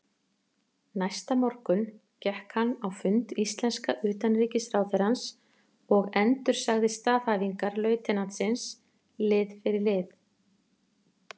Næsta morgun gekk hann á fund íslenska utanríkisráðherrans og endursagði staðhæfingar lautinantsins lið fyrir lið.